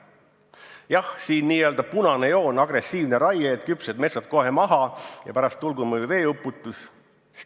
Jah, siin n-ö punane joon on agressiivne raie: et küpsed metsad kohe maha ja pärast tulgu või veeuputus.